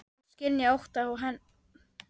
Hún skynjaði óttann og henni létti.